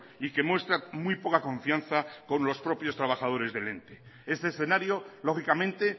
y que muestra muy poca confianza con los propios trabajadores del ente este escenario lógicamente